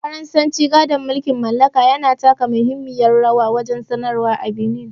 Faransanci, gadon mulkin mallaka, yana taka muhimmiyar rawa wajen sadarwa a Benin.